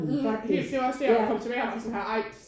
Mh helt det var også det jeg kom tilbage her og var sådan her ej